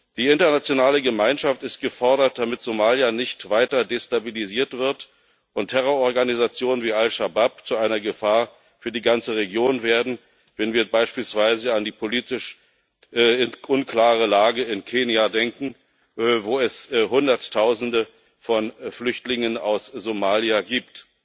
Die internationale Gemeinschaft ist gefordert, damit Somalia nicht weiter destabilisiert wird und Terrororganisationen wie Al Shabaab nicht zu einer Gefahr für die ganze Region werden, wenn wir beispielsweise an die politisch unklare Lage in Kenia denken, wo es Hunderttausende von Flüchtlingen aus Somalia gibt.